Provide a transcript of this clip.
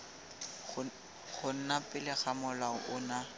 gona pele ga molao ono